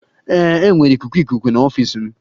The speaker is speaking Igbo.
Ee, enwere ikuku ikuku n'ọfịs m.